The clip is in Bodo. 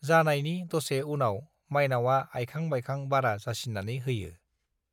जानायनि दसे उनाव माइनावआ आयखां बायखां बारा जासिनानै होयो